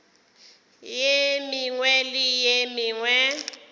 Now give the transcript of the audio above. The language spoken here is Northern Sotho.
ye mengwe le ye mengwe